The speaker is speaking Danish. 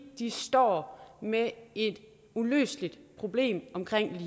de står med et uløseligt problem